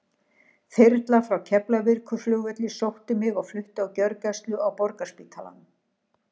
Þyrla frá Keflavíkurflugvelli sótti mig og flutti á gjörgæslu á Borgarspítalanum.